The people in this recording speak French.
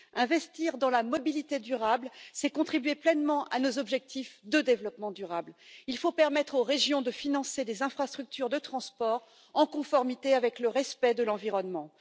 Investir dans la mobilité durable, c'est contribuer pleinement à nos objectifs de développement durable. Il faut permettre aux régions de financer des infrastructures de transport, dans le respect de l'environnement.